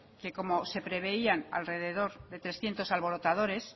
que como se preveían alrededor de trescientos alborotadores